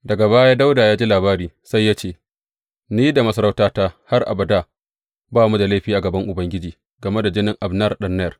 Daga baya, Dawuda ya ji labarin sai ya ce, Ni da masarautata har abada ba mu da laifi a gaban Ubangiji game da jinin Abner ɗan Ner.